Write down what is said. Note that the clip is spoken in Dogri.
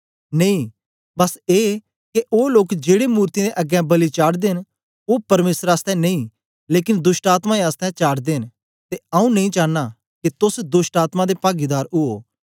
नेई बस ए के ओ लोक जेड़े मूर्तियें दे अगें बलि चाढ़दे न ओ परमेसर आसतै नेई लेकन दोष्टआत्मायें आसतै चाढ़दे न ते आऊँ नेई चानां के तोस दोष्टआत्मा दे पागीदार उयो